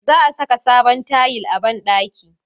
Za a saka sabon tayil a banɗaki